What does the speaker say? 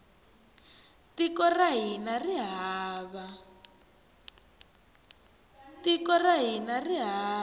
tiko ra hina ri va